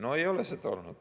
No ei ole seda olnud.